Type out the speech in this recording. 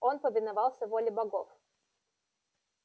он повиновался воле богов